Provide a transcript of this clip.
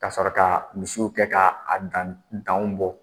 Ka sɔrɔ ka misiw kɛ ka a dan dan bɔ.